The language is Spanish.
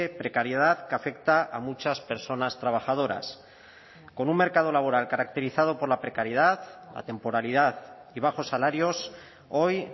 precariedad que afecta a muchas personas trabajadoras con un mercado laboral caracterizado por la precariedad la temporalidad y bajos salarios hoy